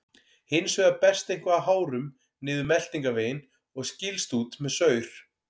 Hins vegar berst eitthvað af hárum niður meltingarveginn og skilst út með saur.